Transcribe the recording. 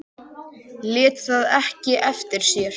Lét það ekki eftir sér.